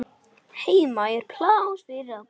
Heima er pláss fyrir alla.